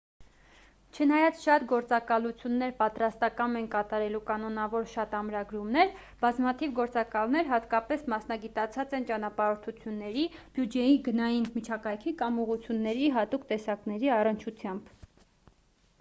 չնայած շատ գործակալություններ պատրաստակամ են կատարելու կանոնավոր շատ ամրագրումներ բազմաթիվ գործակալներ հատկապես մասնագիտացած են ճանապարհորդությունների բյուջեի գնային միջակայքի կամ ուղղությունների հատուկ տեսակների առնչությամբ